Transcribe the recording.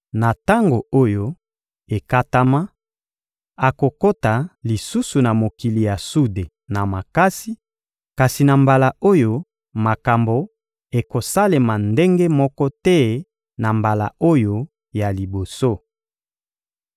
Na tango oyo ekatama, akokota lisusu na mokili ya sude na makasi; kasi na mbala oyo, makambo ekosalema ndenge moko te na mbala oyo ya liboso.